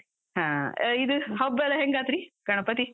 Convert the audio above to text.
ಹಾ, ಇದ್ ಹಬ್ಬೆಲ್ಲ ಹೆಂಗಾತ್ರಿ, ಗಣಪತಿ?